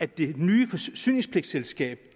det nye forsyningspligtselskab